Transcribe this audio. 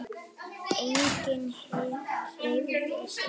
Enginn hreyfði sig.